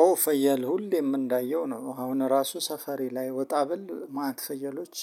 ኦ ፍየል ሁሌም እንዳየሁ ነው አሁን ራሱ ሰፈሬ ላይ ወጣ ብል ማት ፍየሎች